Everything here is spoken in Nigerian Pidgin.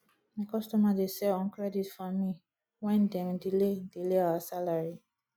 my customer dey sell on credit for me wen dem delay delay our salary